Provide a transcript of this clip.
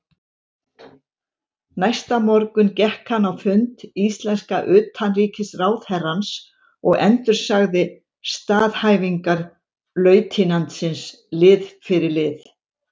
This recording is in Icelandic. Næsta morgun gekk hann á fund íslenska utanríkisráðherrans og endursagði staðhæfingar lautinantsins lið fyrir lið.